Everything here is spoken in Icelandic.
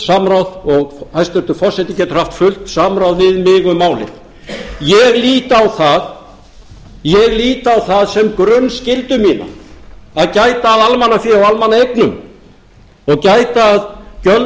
samráð og hæstvirtur forseti getur haft fullt samráð við mig um málið ég lít á það sem grunnskyldu mína að gæta að almannafé og almannaeignum og gæta að gjöldum og